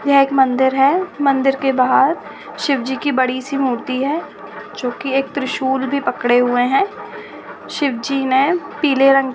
यह एक मंदिर है। मंदिर के बाहर शिवजी की बड़ी सी मूर्ति है जो की त्रिशूल भी पकड़े हुए हैं। शिवजी ने पीले रंग --